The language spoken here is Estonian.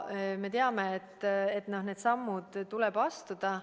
Me ju teame, et need sammud tuleb astuda.